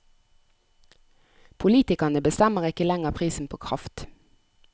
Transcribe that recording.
Politikerne bestemmer ikke lenger prisen på kraft.